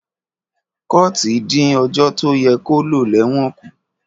kọ̀ọ́ti din òjo to yẹ ko lo lẹwon kú.